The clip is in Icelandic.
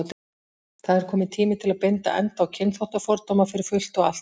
Það er kominn tími til að binda enda á kynþáttafordóma, fyrir fullt og allt.